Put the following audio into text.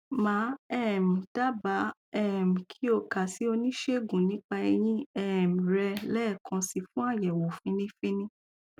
màá um dábàá um kí o kà sí oníṣègùn nípa eyín um rẹ lẹẹkan si fún àyẹwò fínní fínní